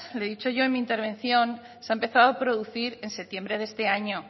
le he dicho yo en mi intervención se ha empezado producir en septiembre de este año